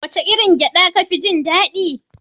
Wace irin gyaɗa kafi jin daɗi?